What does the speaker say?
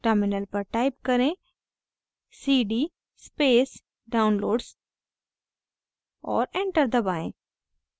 terminal पर type करें: cd space downloads और enter दबाएं